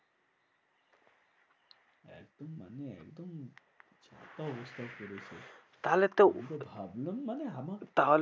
একদম তাহলে তো ঘামালাম মানে আমার তাহলে